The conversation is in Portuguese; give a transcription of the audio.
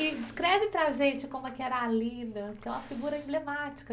E descreve para a gente como é que era a Lina, que é uma figura emblemática.